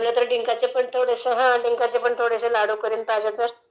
जमलं तर डींकाचेपण थोडे हो...डींकाचेपण थोडेसे लाडू करीन पाहिजेतर